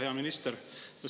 Hea minister!